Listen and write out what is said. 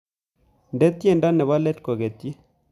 Indene tyendo nebo leet kogetyi